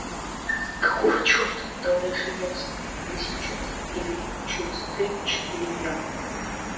какого черта тогда все ясно или сейчас или через три-четыре дня